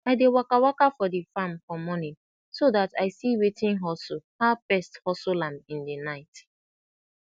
i dey waka waka for de farm for monin so dat i see wetin hustle how pest hustle am in de night